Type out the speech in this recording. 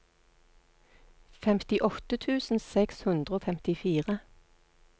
femtiåtte tusen seks hundre og femtifire